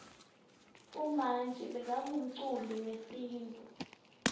umanji bekangumculi wesintfu